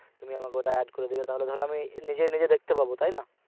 তুমি আমাকে ওটায় add করে তাহলে ধরো আমি নিজেই নিজেই দেখতে পাবো তাইনা?